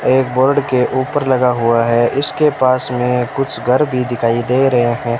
एक बोर्ड के ऊपर लगा हुआ है ईसके पास में कुछ घर भी दिखाई दे रहे हैं।